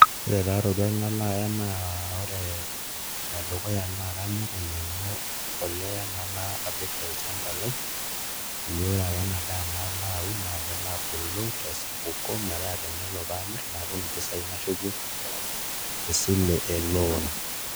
Ore taa iroruat nalo aya naa ore enadukuya naa kanyok ainyiang'u embolea nalo apik olchamba lai peyie ore ake ena daa nalo aun naa kelo abulu tesapuko metaa tenelo namirr natum mpisai nashukie esilo eloon.